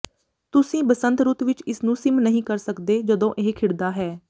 ਤੁਸੀਂ ਬਸੰਤ ਰੁੱਤ ਵਿੱਚ ਇਸ ਨੂੰ ਮਿਸ ਨਹੀਂ ਕਰ ਸਕਦੇ ਜਦੋਂ ਇਹ ਖਿੜਦਾ ਹੈ